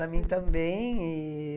Para mim também. E...